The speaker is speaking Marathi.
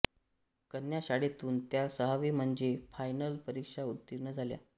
कन्याशाळेतून त्या सहावी म्हणजे फायनल परीक्षा उत्तीर्ण झाल्या